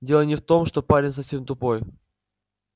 дело не в том что парень совсем тупой